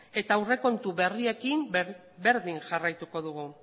eta aurrekontu berriekin berdin jarraituko dugu